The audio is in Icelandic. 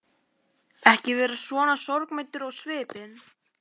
Ekki vera svona sorgmæddur á svipinn.